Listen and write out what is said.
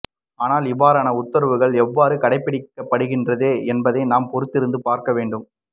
ஆனால் இவ்வாறான உத்தரவுகள் எவ்வாறு கடைப்பிடிக்கப்படுகின்றதோ என்பதை நாம் பொறுத்திருந்தே பார்க்க வேண்டும்